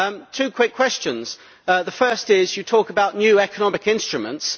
Two quick questions the first is, you talk about new economic instruments.